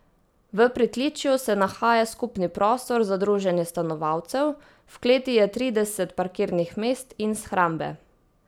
V pritličju se nahaja skupni prostor za druženje stanovalcev, v kleti je trideset parkirnih mest in shrambe.